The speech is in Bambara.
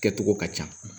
Kɛcogo ka ca